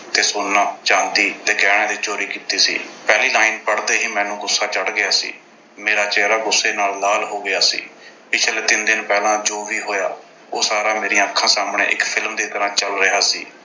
ਤੇ ਸੋਨਾ, ਚਾਂਦੀ ਤੇ ਗਹਿਣਿਆਂ ਦੀ ਚੋਰੀ ਕੀਤੀ ਸੀ। ਪਹਿਲੀ line ਪੜ੍ਹਦੇ ਹੀ ਮੈਨੂੰ ਗੁੱਸਾ ਚੜ੍ਹ ਗਿਆ ਸੀ। ਮੇਰਾ ਚਿਹਰਾ ਗੁੱਸੇ ਨਾਲ ਲਾਲ ਹੋ ਗਿਆ ਸੀ। ਪਿਛਲੇ ਤਿੰਨ ਦਿਨ ਪਹਿਲਾਂ ਜੋ ਵੀ ਹੋਇਆ ਉਹ ਸਾਰਾ ਮੇਰੀਆਂ ਅੱਖਾਂ ਸਾਹਮਣੇ ਇੱਕ film ਦੀ ਤਰ੍ਹਾਂ ਚੱਲ ਰਿਹਾ ਸੀ।